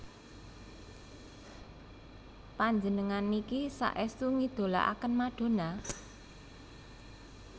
Panjenengan niki saestu ngidolaaken Madonna?